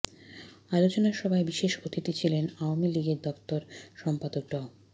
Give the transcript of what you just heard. আলোচনাসভায় বিশেষ অতিথি ছিলেন আওয়ামী লীগের দফতর সম্পাদক ড